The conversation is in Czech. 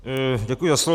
Děkuji za slovo.